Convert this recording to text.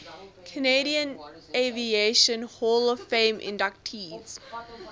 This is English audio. canadian aviation hall of fame inductees